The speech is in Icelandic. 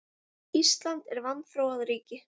Ísland er vanþróað ríki.